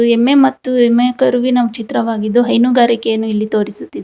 ಎಮ್ಮೆ ಮತ್ತು ಎಮ್ಮೆ ಕರುವಿನ ಚಿತ್ರವಾಗಿದ್ದು ಹೈನುಗಾರಿಕೆಯನ್ನು ಇಲ್ಲಿ ತೋರಿಸುತ್ತಿದೆ.